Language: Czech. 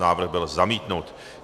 Návrh byl zamítnut.